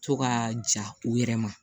To ka ja u yɛrɛ ma